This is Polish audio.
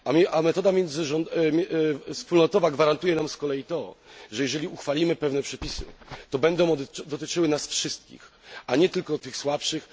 A metoda wspólnotowa gwarantuje nam z kolei to, że jeżeli uchwalimy pewne przepisy, to będą one dotyczyły nas wszystkich, a nie tylko tych słabszych.